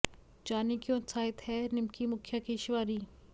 जानिए क्यों उत्साहित है निमकी मुखिया की शिवानी